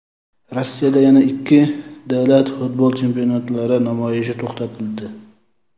Rossiyada yana ikki davlat futbol chempionatlari namoyishi to‘xtatildi.